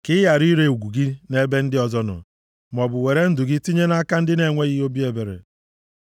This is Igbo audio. ka ị ghara ire ugwu gị nʼebe ndị ọzọ nọ, maọbụ were ndụ gị tinye nʼaka ndị na-enweghị obi ebere.